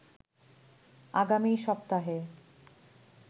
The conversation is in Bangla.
আগামী সপ্তাহে